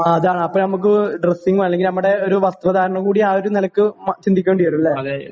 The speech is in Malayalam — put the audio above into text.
എ അതാണ് അപ്പോ നമുക്ക് ഡ്രെസ്സിംഗ് അല്ലെങ്കി നമ്മുടെ ഒരു വസ്ത്രധാരണം കൂടി ആ ഒരു നിലയ്ക്ക് ചിന്തിക്കേണ്ടി വരും അല്ലേ